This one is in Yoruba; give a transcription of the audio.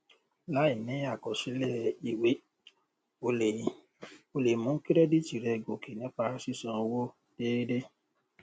láìní àkọsílẹ ìwé o lè o lè mú kírẹdìtì rẹ gòkè nípa sísan owó déédéé